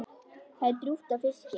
Það er drjúgt af fiski.